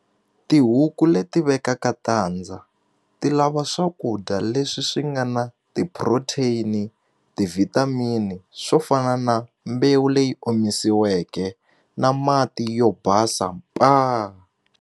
Tihuku leti vekaka tandza ti lava swakudya leswi swi nga na ti-protein-i ti-vitamin-i swo fana na mbewu leyi omisiweke na mati yo basa paa.